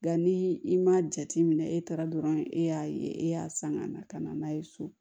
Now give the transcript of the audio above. Nka ni i m'a jate minɛ e taara dɔrɔn e y'a ye e y'a san ka na ka na n'a ye so